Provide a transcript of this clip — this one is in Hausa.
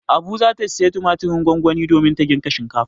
Abu za ta sayi tumatirin gongoni domin ta girka shinkafa.